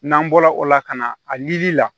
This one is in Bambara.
N'an bɔra o la ka na a ɲinili la